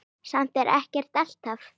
Samt ekkert alltaf.